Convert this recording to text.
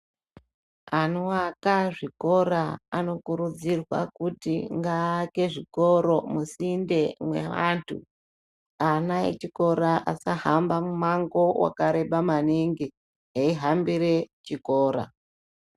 Anoaka zvikora anokurudzirwa kuti ngaaake zvikora musinde mweantu ana echikora asahamba mumango wakareba maningi eihambire chikora.